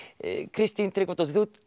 Kristín Tryggvadóttir